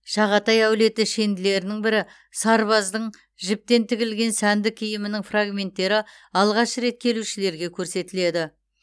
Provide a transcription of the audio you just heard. шағатай әулеті шенділерінің бірі сарбаздың жібектен тігілген сәнді киімінің фрагменттері алғаш рет келушілерге көрсетіледі